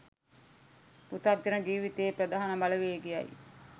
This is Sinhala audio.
පෘථග්ජන ජීවිතයේ ප්‍රධාන බලවේගයයි